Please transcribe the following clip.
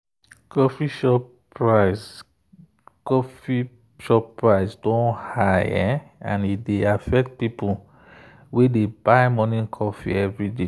coffee shop price coffee shop price don high and e dey affect people wey dey buy morning coffee every day.